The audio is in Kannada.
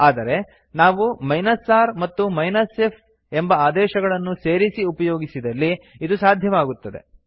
ಆದರೆ ನಾವು r ಮತ್ತು f ಎಂಬ ಆಪ್ಶನ್ ಗಳನ್ನು ಸೇರಿಸಿ ಉಪಯೋಗಿಸಿದಲ್ಲಿ ಇದು ಸಾಧ್ಯವಾಗುತ್ತದೆ